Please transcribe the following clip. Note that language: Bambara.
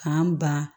K'an ban